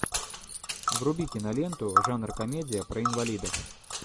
вруби киноленту жанр комедия про инвалидов